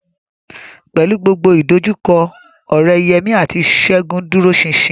Pẹ̀lú gbogbo ìdojúkọ, ọ̀rẹ́ Yemí àti Ṣẹ́gun dúró ṣinṣin